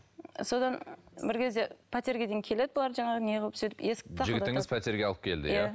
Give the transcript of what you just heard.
содан бір кезде пәтерге дейін келеді бұлар жаңағы не қылып сөйтіп жігітіңіз пәтерге алып келді иә